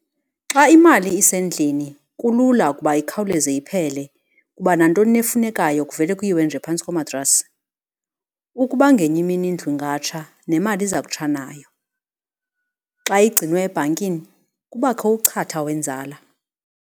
Xa imali isendlini kulula ukuba ikhawuleze iphele kuba nantoni na efunekayo kuvele kuyiwe nje phantsi komatrasi. Ukuba ngenye imini indlu ingatsha nemali iza kutsha nayo. Xa igcinwe ebhankini kubakho uchatha wenzala.